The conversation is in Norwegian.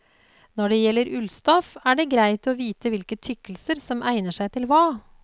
Når det gjelder ullstoff er det greit å vite hvilke tykkelser som egner seg til hva.